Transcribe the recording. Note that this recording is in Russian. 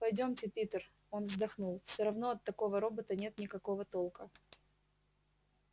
пойдёмте питер он вздохнул всё равно от такого робота нет никакого толка